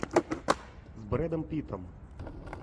с брэдом питтом